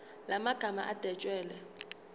la magama adwetshelwe